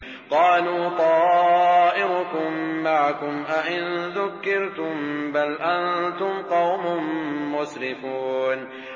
قَالُوا طَائِرُكُم مَّعَكُمْ ۚ أَئِن ذُكِّرْتُم ۚ بَلْ أَنتُمْ قَوْمٌ مُّسْرِفُونَ